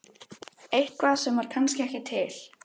Eitthvað sem var kannski ekki til.